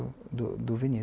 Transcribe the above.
Do do Vinícius